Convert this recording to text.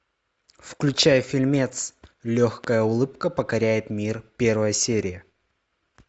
включай фильмец легкая улыбка покоряет мир первая серия